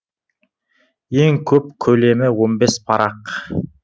ең көп көлемі он бес парақ